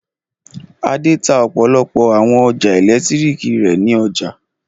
Adé tá ọ̀pọ̀lọpọ̀ àwọn ọjà ẹ̀lẹ́tíríkì rẹ̀ ní ọjà.